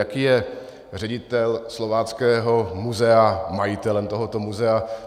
Jaký je ředitel Slováckého muzea majitelem tohoto muzea?